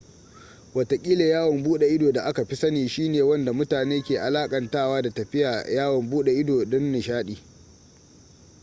watakila yawon bude ido da aka fi sani shi ne wanda mutane ke alakantawa da tafiya yawon bude ido don nishaɗi